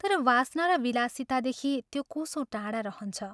तर वासना र विलासितादेखि त्यो कोसौं टाढा रहन्छ।